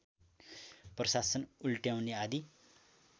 प्रशासन उल्ट्याउने आदि